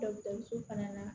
so fana na